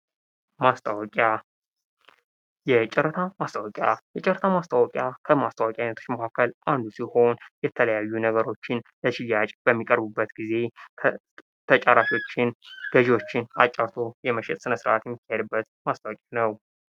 ማስታወቂያ የጨረታ ማስታወቂያ የጨረታ ማስታወቂያ ከማስታወቂያ አይነቶች ዉስጥ አንዱ ሲሆን የተለያዩ ነገሮችን ለሽያጭ በሚቀርብበት ጊዜ ተጫራቾችን ገዢዎችን አጫርቶ የመሸጥ ስነስራት የሚካሄድበት ማስታወቂያ ነው።